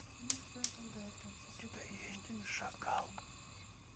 у тебя есть шакал